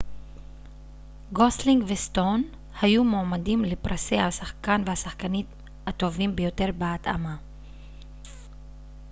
גוסלינג וסטון היו מועמדים לפרסי השחקן והשחקנית הטובים ביותר בהתאמה